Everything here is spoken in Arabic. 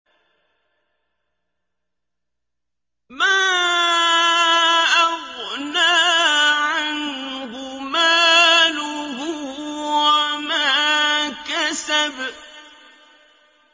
مَا أَغْنَىٰ عَنْهُ مَالُهُ وَمَا كَسَبَ